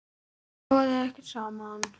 Kannski sofa þau ekkert saman?